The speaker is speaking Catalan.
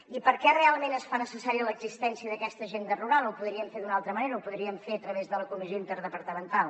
i per què realment es fa necessària l’existència d’aquesta agenda rural ho podríem fer d’una altra manera ho podríem fer a través de la comissió interdepartamental